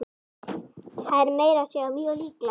Það er meira að segja mjög líklegt.